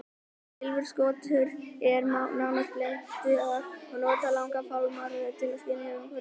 Silfurskottur eru nánast blindar og nota langa fálmara til að skynja umhverfi sitt.